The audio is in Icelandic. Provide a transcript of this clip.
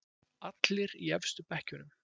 Allir í efstu bekkjunum.